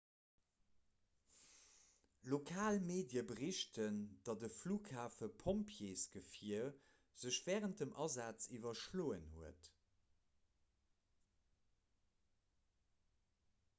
lokal medie berichten datt e flughafepompjeesgefier sech wärend dem asaz iwwerschloen huet